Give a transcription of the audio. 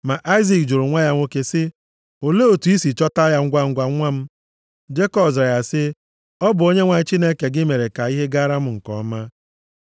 Ma Aịzik jụrụ nwa ya nwoke sị, “Olee otu i si chọta ya ngwangwa, nwa m?” Jekọb zara ya sị, “Ọ bụ Onyenwe anyị Chineke gị mere ka ihe gaara m nke ọma.”